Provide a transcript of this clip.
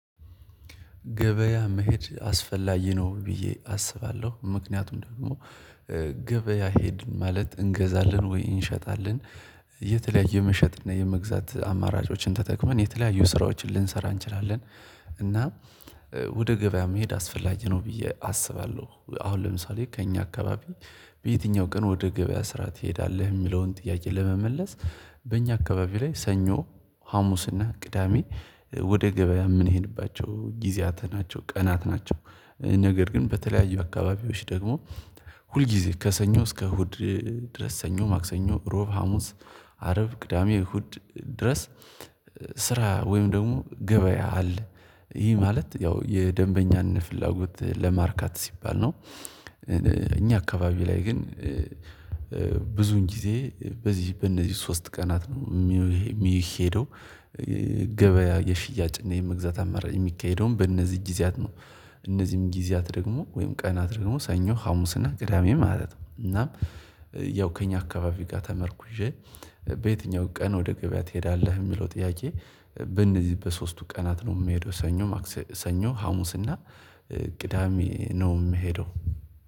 ገበያ መሄድ አስፈላጊ ነው ብዬ አስባለሁ። ምክንያቱም ደግሞ ገበያ ሄድን ማለት እንገዛለን ወይ እንሸጣለን የተለያየ መሸጥ እና የመግዛት አማራጮችን ተጠቅመን የተለያዩ ስራዎችን ልንሰራ እንችላለን እና ወደ ገበያ መሄድ አስፈላጊ ነው ብዬ አስባለሁ። አሁን ለምሳሌ ከእኛ አካባቢ በየትኛው ቀን ወደ ገበያ ስራ ትሄዳለህ የሚለውን ጥያቄ ለመመለስ በእኛ አካባቢ ላይ ሰኞ ሀሙስና ቅዳሜ ወደ ገበያ ምንሄድባቸው ጊዜያት ናቸው ቀናት ናቸው። ነገር ግን በተለያዩ አካባቢዎች ደግሞ ሁልጊዜ ከሰኞ እስከ እሁድ ድረስ ሰኞ ማክሰኞ ሮብ ሀሙስ አረብ ቅዳሜ እሁድ ድረስ ስራ ወይም ደግሞ ገበያ አለ ይሄ ማለት ያው የደንበኛን ፍላጎት ለማርካት ሲባል ነው እኛ አካባቢ ላይ ግን ብዙን ጊዜ በዚህ በእነዚህ ሶስት ቀናት ነው የሚሄደው ገበያ የሽያጭ እና የመግዛት አማራጭ የሚካሄደውም በእነዚህ ጊዜያት ነው እነዚህም ጊዜያት ደግሞ ወይም ቀናት ደግሞ ሰኞ፣ ሀሙስ እና ቅዳሜ ማለት ነው። እናም ያው ከእኛ አካባቢ ጋር ተመርኩዤ በየትኛውም ቀን ወደ ገበያ ትሄዳለህ? የሚለው ጥያቄ በእነዚህ በሶስቱ ቀናት ነው የምሄደው ሰኞ ሀሙስ እና ቅዳሜ ነው የምሄደው